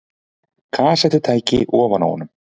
Kassettutæki ofan á honum.